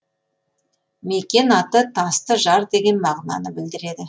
мекен аты тасты жар деген мағынаны білдіреді